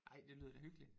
Ej det lyder da hyggelig